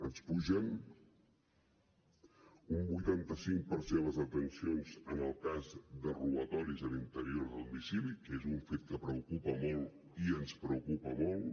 ens pugen un vuitanta cinc per cent les detencions en el cas de robatoris a l’interior de domicili que és un fet que preocupa molt i ens preocupa molt